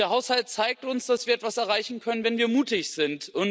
Der Haushalt zeigt uns, dass wir etwas erreichen können, wenn wir mutig sind.